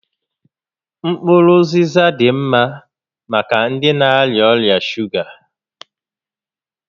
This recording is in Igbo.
Mkpụrụ ụzịza dị ḿmá maka ndị na-arịa ọrịa shuga